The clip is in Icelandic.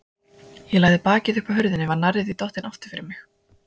Ég lagði bakið upp að hurðinni en var nærri því dottin aftur fyrir mig.